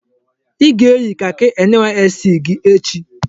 I ga-eyi kaki NYSC gị echi!